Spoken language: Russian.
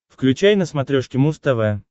включай на смотрешке муз тв